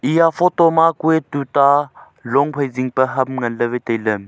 eya photo ma kue tuta rong phai zing pe ham ngan le wai taile.